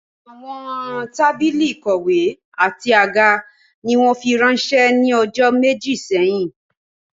Àwọn tábìlì ìkọ̀wé àti àga ni wọ́n fi ránsẹ́ ní ọjọ́ méjì sẹ́yìn